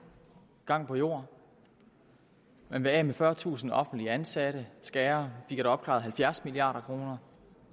gang på jord man vil af med fyrretusind offentligt ansatte skære som fik opklaret halvfjerds milliard kr